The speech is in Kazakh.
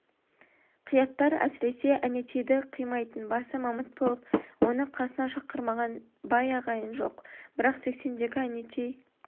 қияттар әсіресе әнетейді қимайтын басы мамыт болып оны қасына шақырмаған бай ағайын жоқ бірақ сексендегі әнетей